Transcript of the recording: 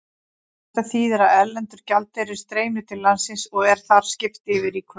Þetta þýðir að erlendur gjaldeyrir streymir til landsins og er þar skipt yfir í krónur.